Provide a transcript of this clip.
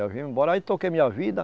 Eu vim embora, aí toquei minha vida.